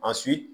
A